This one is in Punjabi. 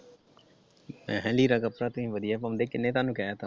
ਮੈ ਕਿਹਾ ਲੀੜਾ ਕੱਪੜਾ ਤੁਸੀ ਵਧੀਆ ਪਾਉਂਦੇ ਕਿੰਨੇ ਤੁਹਾਨੂੰ ਕਹਿਤਾ ।